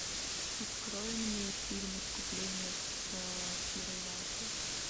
открой мне фильм искупление с кирой найтли